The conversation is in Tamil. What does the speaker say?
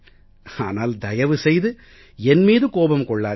ஆனால் தயவு செய்து என் மீது கோபம் கொள்ளாதீர்கள்